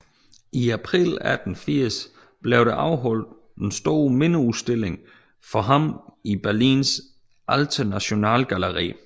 I april 1880 blev der afholdt en stor mindeudstilling for ham i Berlins Alte Nationalgalerie